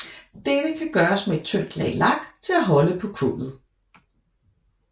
Dette kan gøres med et tyndt lag lak til at holde på kullet